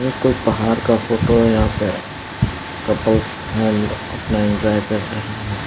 ये कोई पहाड़ का फोटो है यहां पे कपल्स हैं अपना इन्जॉय कर रहे हैं।